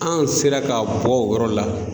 An sera ka bɔ o yɔrɔ la.